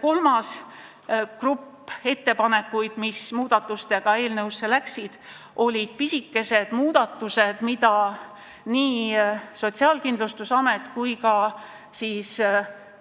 Kolmas grupp muudatusi, mis eelnõus tehti, olid pisikesed muudatused, mida Sotsiaalkindlustusameti,